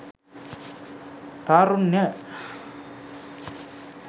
tharunya